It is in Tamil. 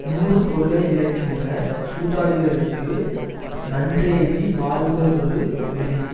நூறு பொருளை யிழக்கின்ற சூதாடிகளுக்கு நன்றெய்தி வாழ்வதொரு நெறி